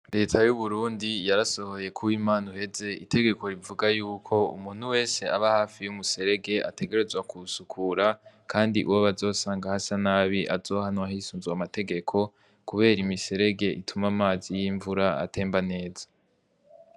Leta y'uburundi yarasohoye kuba imana uheze itegeko rivuga yuko umuntu wese aba hafi y'umuserege ategerezwa kusukura, kandi uwo bazosanga hasa nabi azohanwa ahisunzwe amategeko, kubera imiserege ituma amazi y'imvura atemba neza.